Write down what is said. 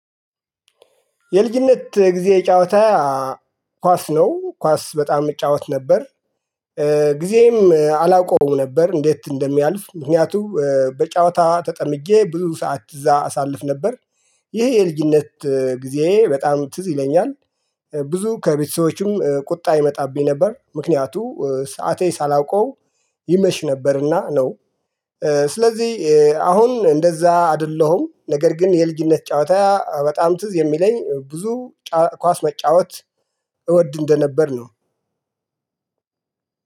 የልጅነት ጊዜ ጨዋታ ኳስ ነው ኳስ በጣም እጫወት ነበር። ጊዜም አላውቀውም ነበር እንዴት እንደሚያልፍ ምክንያቱም በጨዋታ ተጠምጄ ብዙ ሰዓት እዛ አሳልፍ ነበር። ይሄ የልጅነት ጊዜ በጣም ትዝ ይለኛል። ብዙ ከቤተሰቦቹም ቁጣ ይመጣብኝ ነበር ምክንያቱ ሰዓቴ ሳላውቀው ይመሽ ነበርና ነው። ስለዚህ አሁን እንደዛ አይደለሁም ነገር ግን የልጅነት ጨዋታ በጣም ትዝ የሚለኝ ብዙ ኳስ መጫወት እወድ እንደነበር ነው።